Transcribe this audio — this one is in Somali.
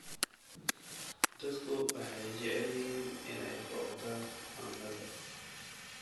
Dadku waxay jecel yihiin inay booqdaan cunnada.